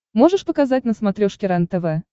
можешь показать на смотрешке рентв